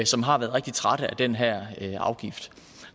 som har været rigtig trætte af den her afgift